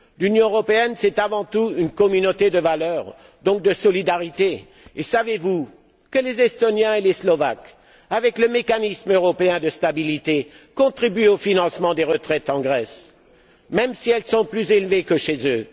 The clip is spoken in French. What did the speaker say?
L'Union européenne est avant tout une communauté de valeurs, donc de solidarité. Savez vous que les Estoniens et les Slovaques, par le mécanisme européen de stabilité, contribuent au financement des retraites en Grèce, même si elles sont plus élevées que chez eux?